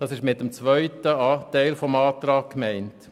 Das ist mit dem zweiten Teil des Antrags gemeint.